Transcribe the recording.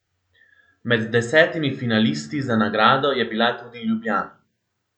Med desetimi finalisti za nagrado je bila tudi Ljubljana.